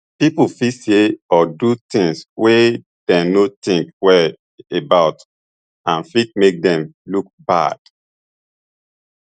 pipo fit say or do tins wey dem no tink well about and fit make dem look bad